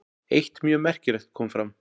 Eitt mjög merkilegt kom fram.